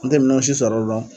An te minɛn si sɔrɔ o la